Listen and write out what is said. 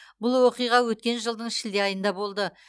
бұл оқиға өткен жылдың шілде айында болды